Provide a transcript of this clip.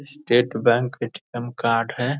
State Bank ATM. Card है।